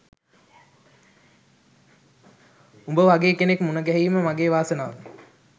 උඹ වගේ කෙනෙක් මුණගැහීම මගේ වාසනාව